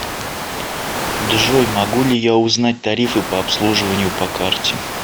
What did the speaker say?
джой могу ли я узнать тарифы по обслуживанию по карте